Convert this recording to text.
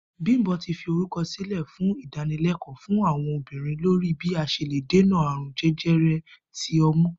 Bímpé ti fi orúkò̩ sílè̩ fún ìdánilé̩kò̩ó̩ fún àwo̩n obìnrin lórí bí a s̩e lè dènà àrùn je̩je̩re̩ ti o̩mú